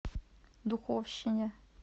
духовщине